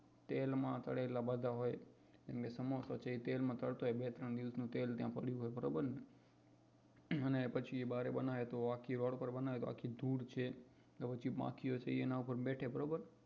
તેલમાં તળેલા બધા હોય જેમ કે સમોસા છે એ તેલમાં તળતો હોય એ બે ત્રણ દિવસ નું તેલ ત્યાં પડ્યું હોય બરોબર ને અને પછી એ બહાર બનાવે તો આખી રોડ પર બનાવે તો આખી ધૂળ છે માખીઓ એ બધી એના પર બેઠે બરોબર